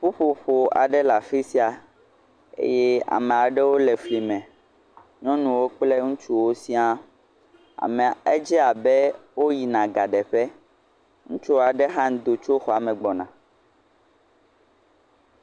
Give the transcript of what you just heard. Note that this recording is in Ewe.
Ƒuƒoƒo aɖe le afi sia eye ame aɖewo le fli me nyɔnuwo kple ŋutsuwo siaa, edze abe wogbɔna ga ɖe ƒe, ŋutsu aɖe hã do tso xɔme gbɔna.